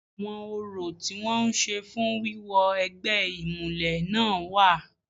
Àwọn orò tí wọ́n ń ṣe fún wíwọ egbẹ́ ìmùlẹ̀ náà wà.